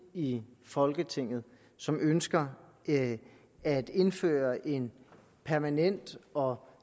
i folketinget som ønsker at indføre en permanent og